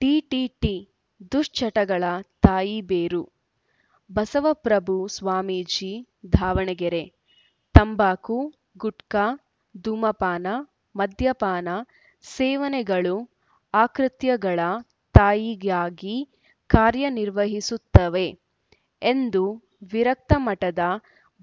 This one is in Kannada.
ಡಿಡಿಟಿ ದುಶ್ಚಟಗಳ ತಾಯಿ ಬೇರು ಬಸವಪ್ರಭು ಸ್ವಾಮೀಜಿ ದಾವಣಗೆರೆ ತಂಬಾಕು ಗುಟ್ಕಾ ಧೂಮಪಾನ ಮದ್ಯಪಾನ ಸೇವನೆಗಳು ಅಕೃತ್ಯಗಳ ತಾಯಿಯಾಗಿ ಕಾರ್ಯ ನಿರ್ವಹಿಸುತ್ತವೆ ಎಂದು ವಿರಕ್ತಮಠದ